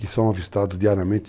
E são avistados diariamente.